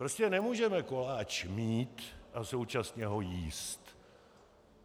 Prostě nemůžeme koláč mít a současně ho jíst.